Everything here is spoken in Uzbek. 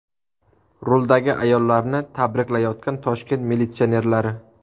Ruldagi ayollarni tabriklayotgan Toshkent militsionerlari.